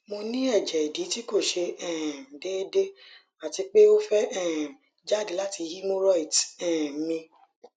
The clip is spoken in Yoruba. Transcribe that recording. mo ni eje idi ti ko se um deede ati pe o fe um jade lati hemorrhoids um mi